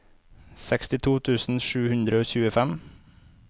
sekstito tusen sju hundre og tjuefem